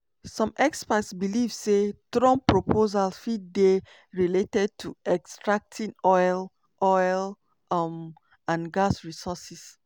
some experts believe say trump proposals fit dey related to extracting oil oil um and gas resources.